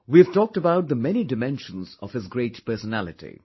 We have talked about the many dimensions of his great personality